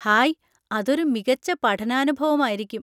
Hi! അതൊരു മികച്ച പഠനാനുഭവമായിരിക്കും.